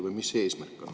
Või mis on eesmärk?